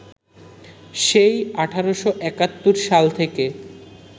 সেই ১৮৭১ সাল থেকে